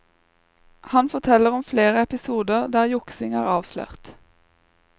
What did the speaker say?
Han forteller om flere episoder der juksing er avslørt.